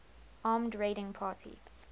armed raiding party